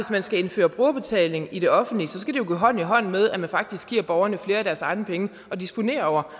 man skal indføre brugerbetaling i det offentlige skal det jo gå hånd i hånd med at man faktisk giver borgerne flere af deres egne penge at disponere over